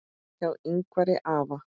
Hjá Yngvari afa